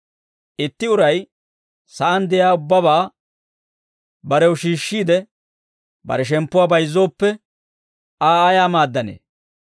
Itti uray sa'aan de'iyaa ubbabaa barew shiishshiide, bare shemppuwaa bayizzooppe, Aa ayaa maaddanee?